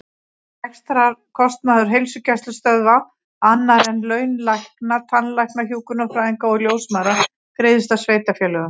Rekstrarkostnaður heilsugæslustöðva, annar en laun lækna, tannlækna, hjúkrunarfræðinga og ljósmæðra, greiðist af sveitarfélögum.